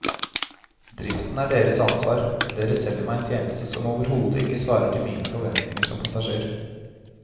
Driften er deres ansvar, dere selger meg en tjeneste som overhodet ikke svarer til mine forventninger som passasjer.